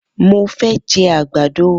Mo fẹ́ jẹ àgbàdo.